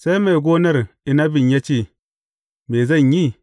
Sai mai gonar inabin ya ce, Me zan yi?